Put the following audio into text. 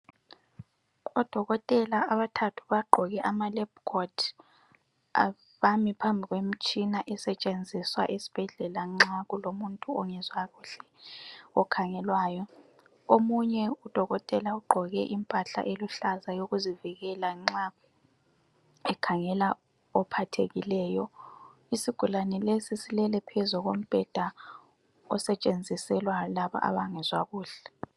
Odokotela abathathu bagqoke ama (lab court)bambi phambi kwemtshina esetshenziswa esibhedlela nxa kulomuntu ongezwa kuhle okhangelwayo. Omunye udokotela Ugqoke impahla eluhlaza yokuzivikela nxa ekhangela ophathekileyo. Isigulane lesi silele phezu kombheda osetshenziselwa laba abangezwa kuhle.